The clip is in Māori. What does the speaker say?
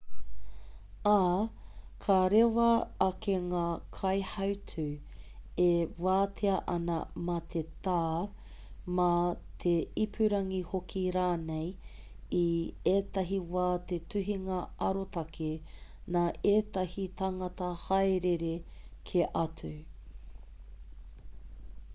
ā ka rewa ake ngā kaihautū e wātea ana mā te tā mā te ipurangi hoki rānei i ētahi wā he tuhinga arotake nā ētahi tāngata haerere kē atu